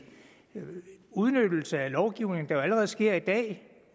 en udnyttelse af lovgivningen der jo allerede sker i dag